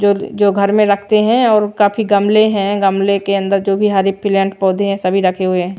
जो जो घर में रखते हैं और काफी गमले हैं गमले के अंदर जो भी हरे प्लांट पौधे हैं सभी रखे हुए हैं।